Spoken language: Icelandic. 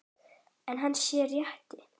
Er hann sá rétti?